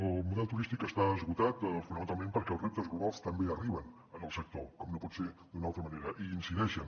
el model turístic està esgotat fonamentalment perquè els reptes globals també arriben al sector com no pot ser d’una altra manera i hi incideixen